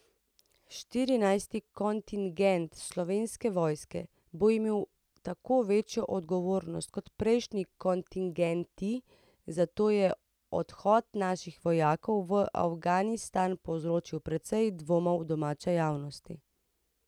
Štirinajsti kontingent Slovenske vojske bo imel tako večjo odgovornost kot prejšnji kontingenti, zato je odhod naših vojakov v Afganistan povzročil precej dvomov domače javnosti.